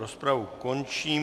Rozpravu končím.